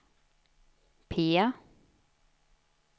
P